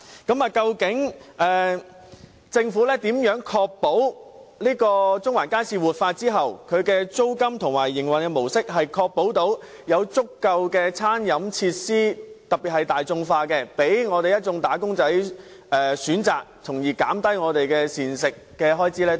究竟政府如何確保中環街市活化後，其租金和營運模式能容許經營者提供足夠的大眾化餐飲設施，供一眾"打工仔"選擇，從而減低他們的膳食開支呢？